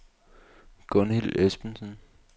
Gunhild Esbensen